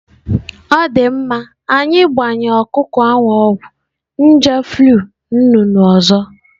Ọ dị mma, anyị gbanyere ọkụkọ ọgwụ nje flu nnụnụ ọzọ.